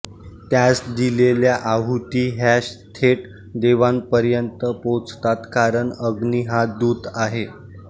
त्यास दिलेल्या आहूती ह्या थेट देवांपर्यंत पोचतात कारण अग्नी हा दूत आहे